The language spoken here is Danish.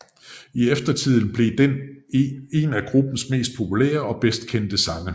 I eftertiden blev den en af gruppens mest populære og bedst kendte sange